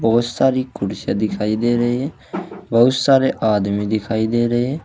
बहोत सारी कुर्सियाँ दिखाई दे रहे है बहुत सारे आदमी दिखाई दे रहे है।